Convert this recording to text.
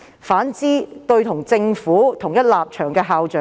反之，他卻每每放生與政府同一立場的校長。